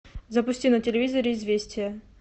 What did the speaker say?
запусти на телевизоре известия